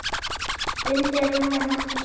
Undir rúmi mátti sjá.